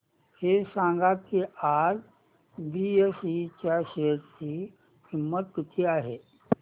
हे सांगा की आज बीएसई च्या शेअर ची किंमत किती आहे